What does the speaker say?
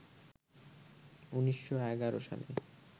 ১৯১১ সালে